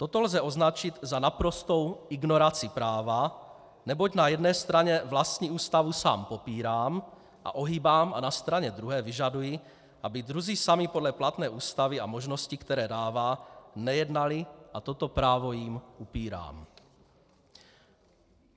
Toto lze označit za naprostou ignoraci práva, neboť na jedné straně vlastní ústavu sám popírám a ohýbám a na straně druhé vyžaduji, aby druzí sami podle platné ústavy a možností, které dává, nejednali a toto právo jim upírám.